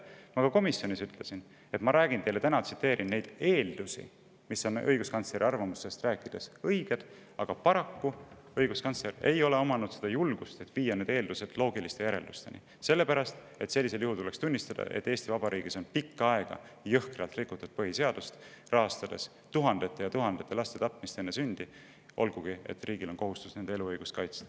Ma ütlesin ka komisjonis, et ma õiguskantsleri arvamusest rääkides tsiteerin selles väljatoodud eeldusi, mis on õiged, aga paraku pole õiguskantsleril olnud julgust viia need eeldused loogiliste järeldusteni, sellepärast et sellisel juhul oleks tulnud tunnistada, et Eesti Vabariigis on pikka aega jõhkralt rikutud põhiseadust, rahastades tuhandete ja tuhandete laste tapmist enne sündi, olgugi et riigil on kohustus nende eluõigust kaitsta.